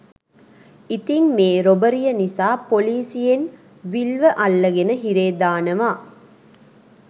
ඉතිං මේ රොබරිය නිසා පොලිසියෙන් විල්ව අල්ලගෙන හිරේ දානවා